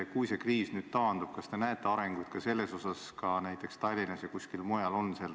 Kui see kriis nüüd taandub, kas te näete arengut ka selles, näiteks Tallinnas ja kuskil mujal?